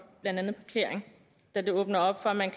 blandt andet parkering da det åbner op for at man